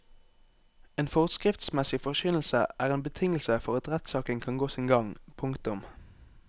En forskriftsmessig forkynnelse er en betingelse for at rettssaken kan gå sin gang. punktum